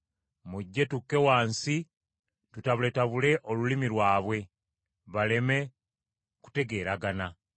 Mujje, tukke wansi tutabuletabule olulimi lwabwe, baleme kutegeeragana.”